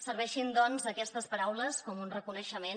serveixin doncs aquestes paraules com un reconeixement